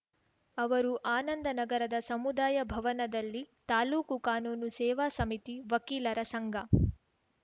ಅವರು ಆನಂದನಗರದ ಸಮುದಾಯಭವನದಲ್ಲಿ ತಾಲೂಕು ಕಾನೂನು ಸೇವಾ ಸಮಿತಿ ವಕೀಲರ ಸಂಘ